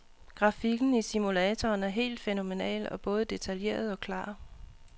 Grafikken i simulatoren er helt fænomenal og både detaljeret og klar.